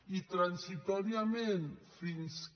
i transitòriament fins que